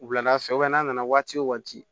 Wulada fɛ n'a nana waati o waati